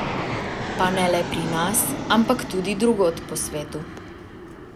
Pa ne le pri nas, ampak tudi drugod po svetu.